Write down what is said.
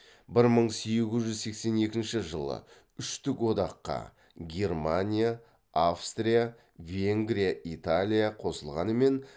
бір мың сегіз жүз сексен екінші жылы үштік одаққа қосылғанымен